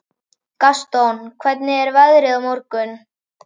Gaston, hvernig er veðrið á morgun?